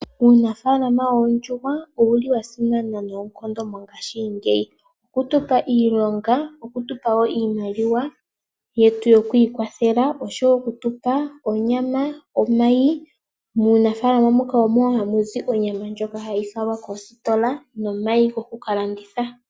Uunafalama woondjuhwa owuli wasimana noonkondo mongashingeyi. Okutupa iilonga, okutupa wo iimaliwa yetu yokwiikwatha osho wo okutupa onyama nomayi. Muunafaalama muka omo hamuzi onyama ndjoka hayi falwa koositola nomayi goku kalandithwa.